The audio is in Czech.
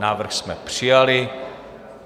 Návrh jsme přijali.